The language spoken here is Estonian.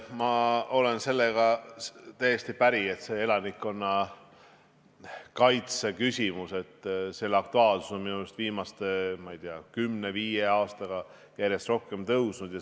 Ma olen sellega täiesti päri, et elanikkonnakaitse on viimase kümne-viie aastaga järjest rohkem aktuaalseks muutunud.